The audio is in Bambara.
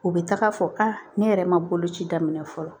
U bɛ taga fɔ a ne yɛrɛ ma boloci daminɛ fɔlɔ